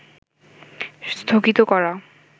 স্থগিত করা